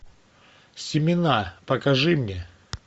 семена покажи мне